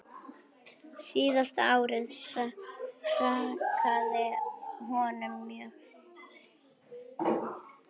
Síðasta árið hrakaði honum mjög.